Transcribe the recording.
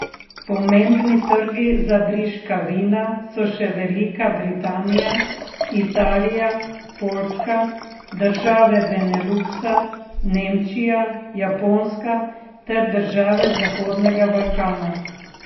Pomembni trgi za briška vina so še Velika Britanija, Italija, Poljska, države Beneluksa, Nemčija, Japonska ter države zahodnega Balkana.